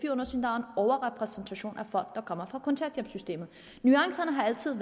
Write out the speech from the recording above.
overrepræsentation af folk der kommer fra kontanthjælpssystemet nuancerne har altid